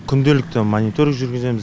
күнделікті мониторинг жүргіземіз